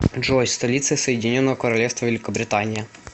джой столица соединненого королевства великобритания